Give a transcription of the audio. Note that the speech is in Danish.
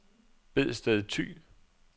Bedsted Thy